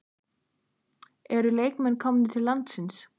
Eru leikmennirnir komnir til landsins?